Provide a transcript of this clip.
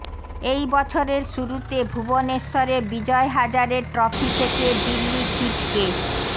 এই বছরের শুরুতে ভুবনেশ্বরে বিজয় হাজারে ট্রফি থেকে দিল্লি ছিটকে